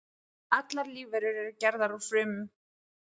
Allar lífverur eru gerðar úr frumum.